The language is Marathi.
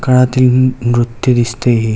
काळातील नृत्य दिसते ही.